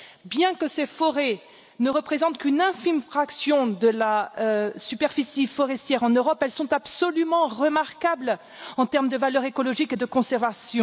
Bien que ces forêts ne représentent qu'une infime fraction de la superficie forestière en Europe, elles sont absolument remarquables en termes de valeur écologique et de conservation.